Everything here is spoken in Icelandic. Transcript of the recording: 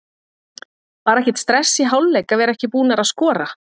Var ekkert stress í hálfleik að vera ekki búnar að skora?